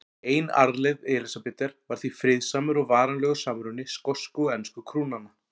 Ein arfleifð Elísabetar var því friðsamur og varanlegur samruni skosku og ensku krúnanna.